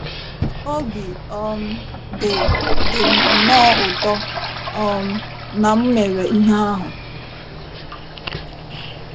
Obi um dị dị m nnọọ ụtọ um na m mere ihe ahụ